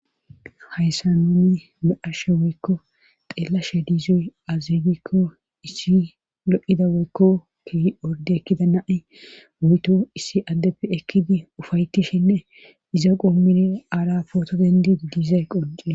Hayssa nuni maashe woykko xeellashe diizoy azegikko issi lo'ida woykko ki orde ekkida nai wuyto issi addeppe ekkidi ufayetishinne iza qoommini aara pooto dendi diizay qonce